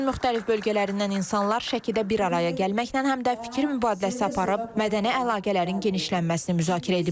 Ölkənin müxtəlif bölgələrindən insanlar Şəkidə bir araya gəlməklə həm də fikir mübadiləsi aparıb, mədəni əlaqələrin genişlənməsini müzakirə ediblər.